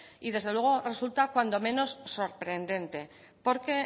y desde luego resulta cuando menos sorprendente porque